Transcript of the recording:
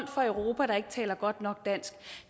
fra europa der ikke taler godt nok dansk